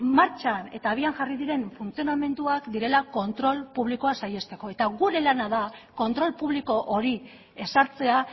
martxan eta abian jarri diren funtzionamenduak direla kontrol publikoa saihesteko eta gure lana da kontrol publiko hori ezartzea